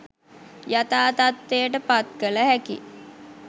යථා තත්ත්වයට පත් කළ හැකි